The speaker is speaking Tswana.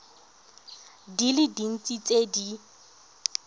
di le dintsi tse di